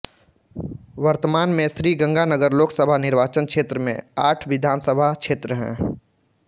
वर्तमान में श्रीगंगानगर लोकसभा निर्वाचन क्षेत्र में आठ विधानसभा क्षेत्र हैं